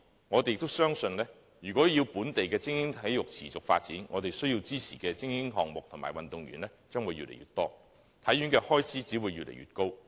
我們相信，若要本地精英體育項目持續發展，便須支持更多精英項目和運動員，故此體院的開支只會越來越高。